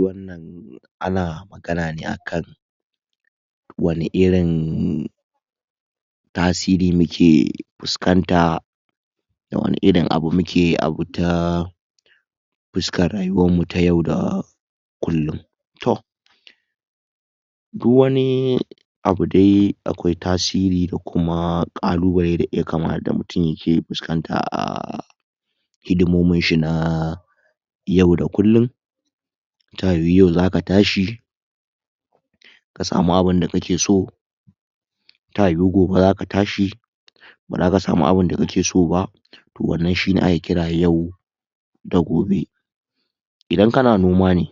wannan ana magana ne akan wani irin tasiri muke fuskanta wani irin abu muke abu ta fuskar rayuwarmu ta yau da kullum toh duk wani abu dai akwai tasiri da Kuma ƙalubale? Da mutum yake fuskanta a hidimominshi na yau da kullum ta yiwu yau zaka tashi kasamu abunda kakeso ta yiwu gobe zaka tashi bazaka samu abunda kakeso ba to wannan shi ake kira yau da gobe Idan kana noma ne ne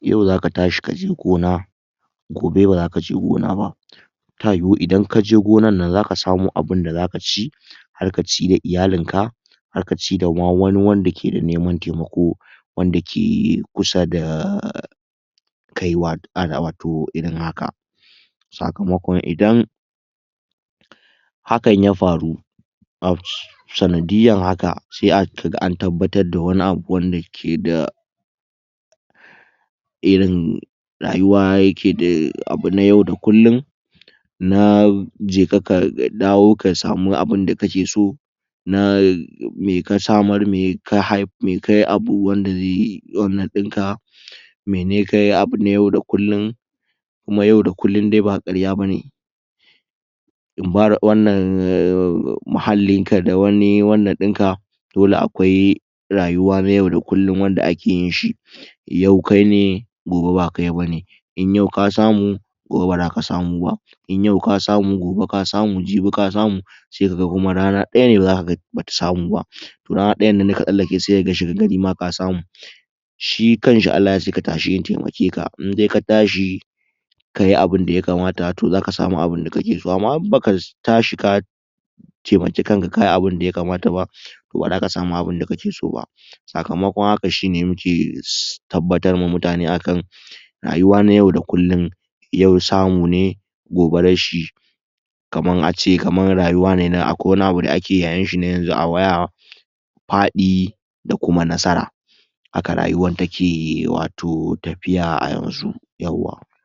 yau zaka tashi kaje gona gobe bazakaje gona ba ta yiwu Idan kaje gonan nan zaka samo abunda zaka ci Har ka ci da iyalinka Har ka ce da wani ma wanda keda neman taimako wanda ke kusada wato irin haka sakamakon idan hakan ya faru sanadiyyan haka sai kaga an tabbatarda wani abu wanda keda irin rayuwa yakeda abu na yau da kullum na jeka ka dawo samu wani abunda kakeso na me ka samar me kayi? Wanda zai wannan dinka mene kayi abu yau da kullum kuma yau da kullum dai ba karya bane muhallinka da wani wannan dinka dole akwai rayuwa na yau da kullum wanda ake yinshi yau kaine gobe ba kaine in yau ka samu gobe ba zaka samu bah in yau ka samu gobe ka samu jibi ka samu sai ka ga rana daya ne bata samu bah rana ɗayannan daka tsallake sai kaga shagargari ma ka samu shi kanshi Allah ya ce ka ta shi in taimake ka Indai ka tashi kayi abunda ya kamata toh zaka samu abunda kakeso Amma in baka tashi taimaki kanka ka yi abunda ya kamata ba toh bazaka samu abunda kakeso ba sakamakon haka shine muke tabbatar ma mutane akan rayuwa na yau da kullum yau samu ne gobe rashi kamar ace kamar rayuwa da akwai wani abu da ake yayinshi a waya faɗi da kuma nasara haka rayuwan take wato tafiya a yanzu yawwa